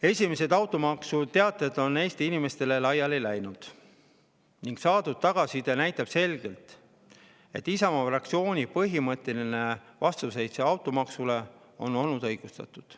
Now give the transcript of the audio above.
Esimesed automaksuteated on Eesti inimestele laiali ning saadud tagasiside näitab selgelt, et Isamaa fraktsiooni põhimõtteline vastuseis automaksule on olnud õigustatud.